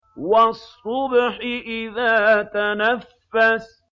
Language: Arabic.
وَالصُّبْحِ إِذَا تَنَفَّسَ